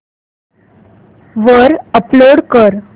वर अपलोड कर